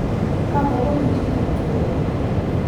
kakobek nchirenik tugul